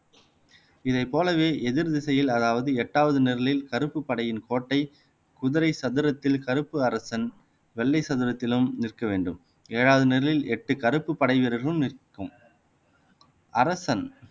இதைப் போலவே எதிர்திசையில் அதாவது எட்டாவது நிரலில் கருப்பு படையின் கோட்டை குதிரை சதுரத்தில் கருப்பு அரசன் வெள்ளை சதுரத்திலும் நிற்க வேண்டும் ஏழாவது நிரலில் எட்டு கருப்பு படை வீரர்களும் நிற்கும் அரசன்